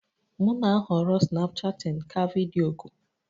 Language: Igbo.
M na-ahọrọ Snapchatting ka video oku